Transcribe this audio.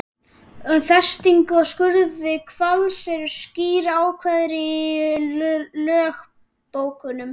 Um festingu og skurð hvals eru skýr ákvæði í lögbókunum.